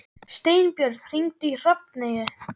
Steinbjörn, hringdu í Hrafneyju.